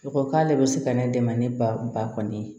U ko k'ale bɛ se ka ne dɛmɛ ni ba kɔni ye